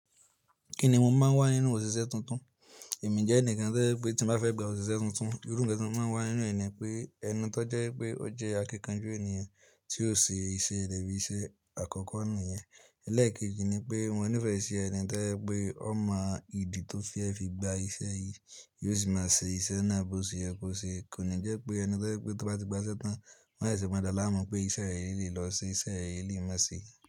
Kí ni mo máa ń wá nínú òṣìṣẹ́ tuntun? Ẹ̀mí jẹ́ ẹnìkan tí o je pé tí mo bá fẹ́ gba òṣìṣẹ́ tuntun, irú ǹkan tí mo máa ń wá nínú ènìyàn ni pé, ẹni tó jẹ́ pé ó jẹ́ akíkanjú ènìyàn tí ó ṣe iṣẹ́re bí iṣẹ́ àkọ́kọ́ ni yẹn. Elẹ́ẹ̀kejì ni pé mo nífẹ̀ẹ́ ṣi ènì tí o jẹ pé ó mọ ìdí tó fi fẹ́ fi gba iṣẹ́ yìí, yóò sì máa ṣe iṣẹ́ náà bó ṣe yẹ kó ṣe. Kò ní jẹ́ pé ẹni tí o jẹ pé tí wọ́n bá ti gba sẹ́tan, wọ́n sese mo daa láàmú pé iṣẹ́ rẹ̀ lele yii lọ ṣe iṣẹ́ rẹ̀ lele yii má ṣe.